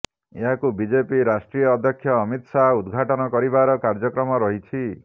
ଏହାକୁ ବିଜେପି ରାଷ୍ଟ୍ରୀୟ ଅଧ୍ୟକ୍ଷ ଅମିତ ଶାହ ଉଦ୍ଘାଟନ କରିବାର କାର୍ଯ୍ଯକ୍ରମ ରହିଛି